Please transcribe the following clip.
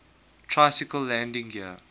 tricycle landing gear